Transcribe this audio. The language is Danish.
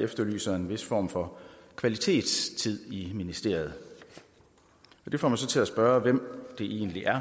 efterlyser en vis form for kvalitetstid i ministeriet det får mig så til at spørge hvem det egentlig er